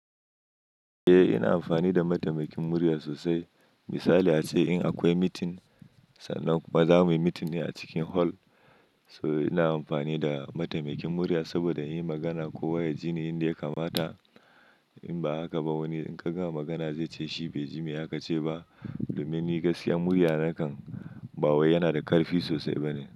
Eh ina amfani da mataimakin murya sosai. Misali ace in akwai meeting sannan kuma zamuyi meeting ne a cikin hall. So ina amfani da mataimakin murya saboda in yi magana kowa ya ji ni yanda ya kamata. In ba haka ba wani in ka gama magana ze ce shi bai ji me aka ce ba. Domin ni gaskiya murya na kan ba wai yana da ƙarfi sosai bane.